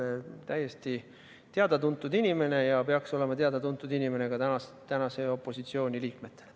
Ta on täiesti teada-tuntud inimene ja peaks olema teada-tuntud inimene ka opositsiooni liikmetele.